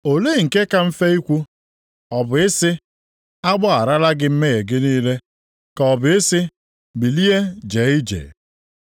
Olee nke ka mfe ikwu? Ọ bụ ị sị, ‘A gbagharala gị mmehie gị niile,’ ka ọ bụ ị sị, ‘Bilie jee ije’?